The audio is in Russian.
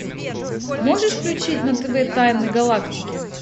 можешь включить на тв тайны галактики